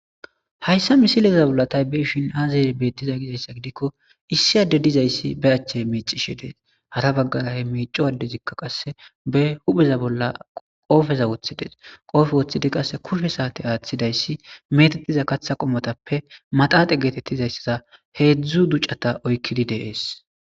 Hayssa misileza bolla taybiishin haazare beettiza gizayssa gidikko issi adde dizayssi be achche miicishe dees hara baggara he miico waddezikka qasse be hupheza bolla qoofeza woththides qoofe woththidi qasse kushe saate aaththidayssi metettiza katha qommotappe maxaaxe geetettizayssaza heedzdzu ducata oykkidi deees.